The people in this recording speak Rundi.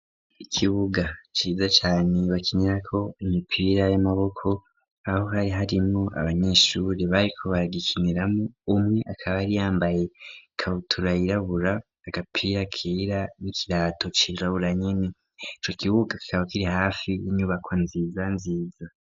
Ikibuga ciza cane bakinirako imipira y'amaboko .Aho hari harimo abanyeshuri bari ko baragikiniramo umwe akaba ari yambaye kabutura yirabura agapira kira n'ikirato cirabura nyine ico kibuga kikaba kiri hafi y'inyubako nziza nziza.